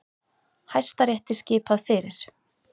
Hæstarétti skipað fyrir